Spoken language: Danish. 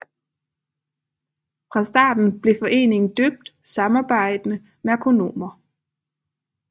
Fra starten blev foreningen døbt Samarbejdende Merkonomer